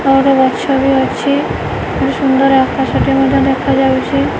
ଆଉ ଗୋଟେ ଗଛ ବି ଅଛି ସୁନ୍ଦର ଆକାଶଟେ ମଧ୍ଯ ଦେଖାଯାଉଚି।